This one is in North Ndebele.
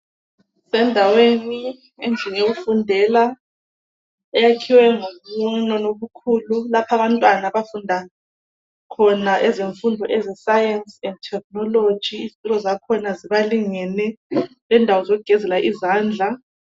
Kusendaweni , endlini yokufundela eyakhiwe ngobunono obukhulu lapha abantwana abafunda khona ezimfundweni ze science technology izitulo zakhona zibalingene lendawo zokugezela izandla.